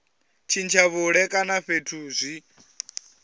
tshintsha vhuṋe kana fhethu zwi